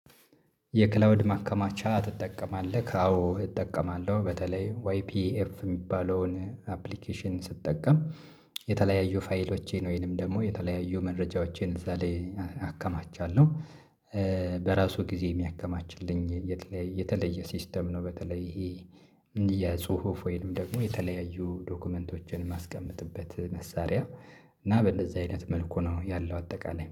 የክላውድ ማከማቻ ትጠቀማለክ? አዎ እጠቀማለሁ በተለይ ዋይ ፒኤፍ እሚባለውን አፕሊኬሽን ስትጠቀም የተለያዩ ፋይሎቼን ወይንም ደግሞ የተለያዩ መረጃዎቼን እዛ ላይ አከማቻለሁ። ኧ በራሱ ጊዜ እሚያከማችልኝ የተለየ ሲስተም ነው። በተለይ ይሄ እንድ ጽሁፍ ወይንም ደግሞ የተለያዩ ዶክመንቶችን እማስቀመጥበት መሳሪያ እና በእንደዚህ አይነት መልኩ ነው ያለው አጠቃላይ